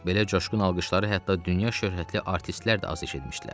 Belə coşqun alqışları hətta dünya şöhrətli artistlər də az eşitmişdilər.